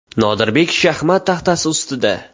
Nodirbek shaxmat taxtasi ustida.